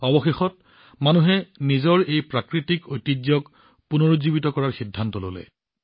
অৱশেষত মানুহে নিজৰ এই প্ৰাকৃতিক ঐতিহ্যক পুনৰুজ্জীৱিত কৰাৰ সিদ্ধান্ত ললে